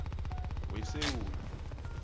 wesewula